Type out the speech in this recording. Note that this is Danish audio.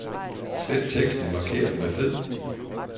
Slet teksten markeret med fed.